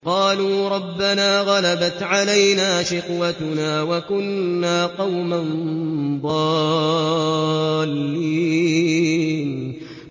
قَالُوا رَبَّنَا غَلَبَتْ عَلَيْنَا شِقْوَتُنَا وَكُنَّا قَوْمًا ضَالِّينَ